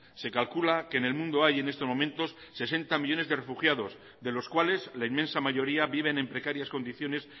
se calcula que en el mundo hay en estos momentos sesenta millónes de refugiados de los cuales la inmensa mayoría viven en precarias condiciones